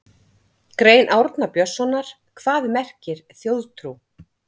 Grein Árna Björnssonar Hvað merkir þjóðtrú?